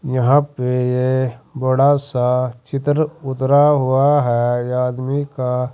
यहां पे ये बड़ा सा चित्र उतरा हुआ है आदमी का।